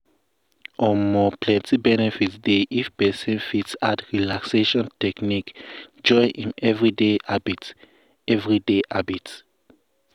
um plenty benefit dey if person fit add relaxation technique join im everyday habit. everyday habit.